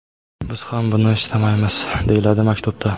Biz ham buni istamaymiz”, − deyiladi maktubda.